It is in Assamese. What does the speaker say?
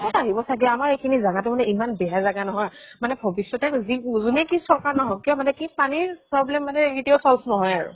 কʼত আহিব চাগে, আমাৰ এইখিনি জাগা টো মানে ইমান বেয়া জাগা নহয়, মানে ভৱিষ্যতে যি যোনে কি চৰকাৰ নহওক কি মানে কি পানীৰ problem মানে কেতিয়াও solve নহয় আৰু।